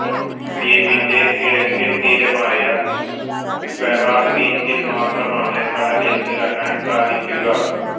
ദ്വീപിന്റെ കിഴക്കേ തീരമായ ഫെറാർ ബീച്ചിൽ മാത്രമാണ് കടലിൽ ഇറങ്ങാൻ സാധിക്കുക